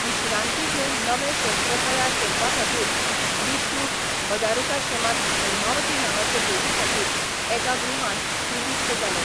विश्रांती घेवन नवें शस्त्र तयार करपाखातीर विष्णु बदारिकाश्रमांत हैमावती नांवाचे देवीखातीर एका गुहांत निवृत्त जालो.